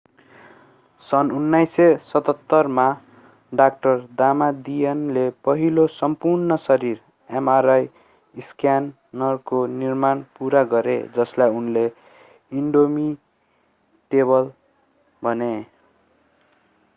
सन् 1977 मा डा दामादियनले पहिलो सम्पूर्ण-शरीर mri स्क्यानरको निर्माण पूरा गरे जसलाई उनले इन्डोमिटेबल भने